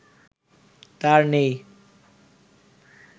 তার নেই